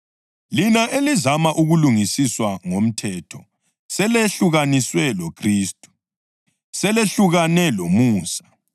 Lina elizama ukulungisiswa ngomthetho selehlukaniswe loKhristu; selehlukane lomusa.